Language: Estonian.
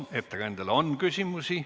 Ettekandjale on küsimusi.